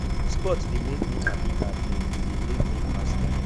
sport de make me happy and um e de make me pass time